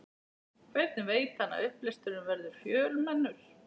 Hvernig veit hann að upplesturinn verður fjölmennur?